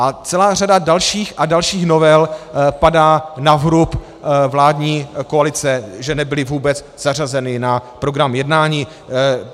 A celá řada dalších a dalších novel padá na vrub vládní koalice, že nebyly vůbec zařazeny na program jednání.